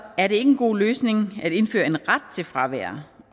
er det ikke en god løsning at indføre en ret til fravær